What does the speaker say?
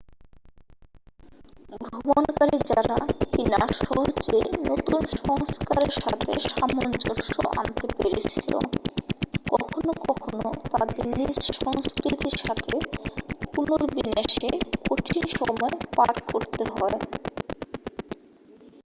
ভ্রমণকারী যারা কি না সহজেই নতুন সংস্কারের সাথে সামঞ্জ্যস্য আনতে পেরেছিল কখনো কখনো তাদের নিজ সংস্কৃতির সাথে পুনর্বিন্যাসে কঠিন সময় পার করতে হয়